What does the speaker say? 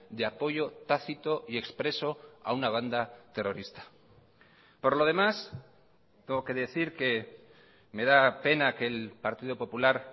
de apoyo tácito y expreso a una banda terrorista por lo demás tengo que decir que me da pena que el partido popular